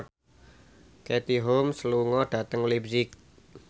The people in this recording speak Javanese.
Katie Holmes lunga dhateng leipzig